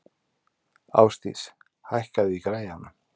Ásdís, hækkaðu í græjunum.